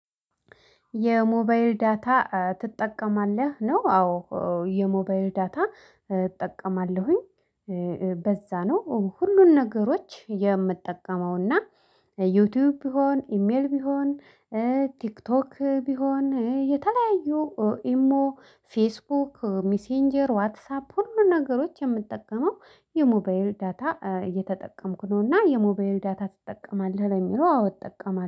የሞባይል ዳታ ትጠቀማለህ? ነው አዎ የሞባይል ዳታ እጠቀማለሁኝ። በዛ ነው ሁሉን ነገሮች የምጠቀመውና ዩቲዩብ ቢሆን ኢሜል ቢሆን ቲክቶክ ቢሆን የተለያዩ ኢሞ ፌስቡክ ሚሴንጀር ዋትሳፕ ሁሉንም ነገሮች የምንጠቀመው የሞባይል ዳታ እየተጠቀምኩ ነው። እና የሞባይል ዳታ ትጠቀማለህ? ለሚለው አዎ እጠቀማለሁ